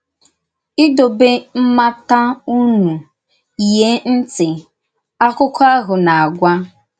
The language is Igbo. “Ìdòbè mmátà ùnú, yìè ntì,” àkụ́kọ̀ ahụ na-àgwà.